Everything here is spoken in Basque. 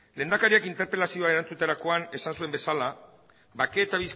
lehendakariak interpelazioa erantzuterakoan esan zuen bezala bake eta